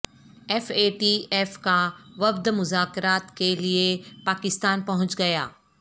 F A T F کا وفد مذاکرات کیلیے پاکستان پہنچ گیا